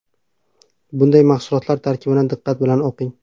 Bunday mahsulotlar tarkibini diqqat bilan o‘qing.